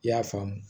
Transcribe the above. I y'a faamu